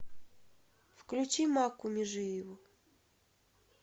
включи макку межиеву